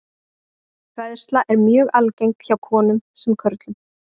Hræðsla er mjög algeng hjá konum sem körlum.